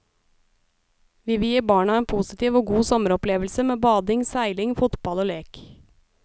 Vi vil gi barna en postiv og god sommeropplevelse med bading, seiling, fotball og lek.